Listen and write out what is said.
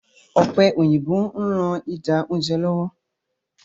Ọ̀pẹ́ òyìnbó ń ran ida oúnjẹ lọ́wọ́